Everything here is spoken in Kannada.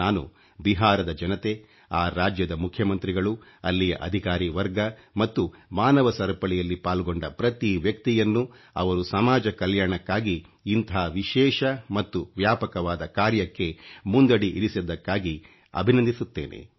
ನಾನು ಬಿಹಾರದ ಜನತೆ ಆ ರಾಜ್ಯದ ಮುಖ್ಯಮಂತ್ರಿಗಳು ಅಲ್ಲಿಯ ಅಧಿಕಾರೀ ವರ್ಗ ಮತ್ತು ಮಾನವ ಸರಪಳಿಯಲ್ಲಿ ಪಾಲ್ಗೊಂಡ ಪ್ರತಿ ವ್ಯಕ್ತಿಯನ್ನು ಅವರು ಸಮಾಜ ಕಲ್ಯಾಣಕ್ಕಾಗಿ ಇಂಥ ವಿಶೇಷ ಮತ್ತು ವ್ಯಾಪಕವಾದ ಕಾರ್ಯಕ್ಕೆ ಮುಂದಡಿ ಇರಿಸಿದ್ದಕ್ಕಾಗಿ ಅಭಿನಂದಿಸುತ್ತೇನೆ